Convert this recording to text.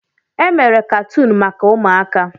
Emere katuun maka ụmụaka.